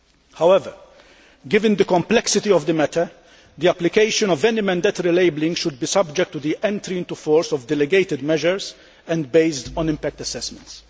However, given the complexity of the matter, the application of any mandatory labelling should be subject to the entry into force of delegated measures and be based on impact assessments.